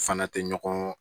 Fana tɛ ɲɔgɔn